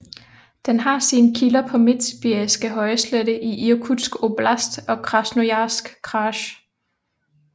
Den har sine kilder på Midtsibiriske højslette i Irkutsk oblast og Krasnojarsk kraj